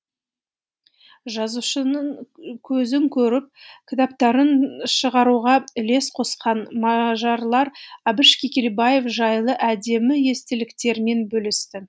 жазушының көзін көріп кітаптарын шығаруға үлес қосқан мажарлар әбіш кекілбаев жайлы әдемі естеліктерімен бөлісті